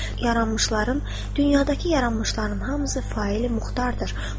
Yaranmışların dünyadakı yaranmışların hamısı faili muxtardır.